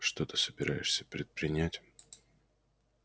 что ты собираешься предпринять